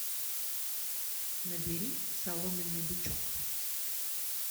набери соломенный бычок